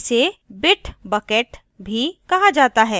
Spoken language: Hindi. इसे bit bucket भी कहा जाता है